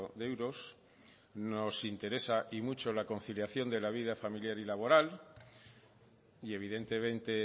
de euros nos interesa y mucho la conciliación de la vida familiar y laboral y evidentemente